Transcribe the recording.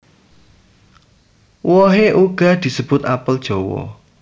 Wohe uga disebut apel jawa